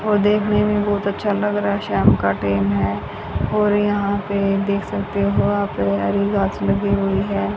और देखने में बहोत अच्छा लग रहा शाम का टेम है और यहां पे देख सकते हो आप ये हरी घास लगी हुई है।